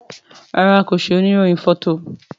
ràrá ki ṣe òní rohin Fọto.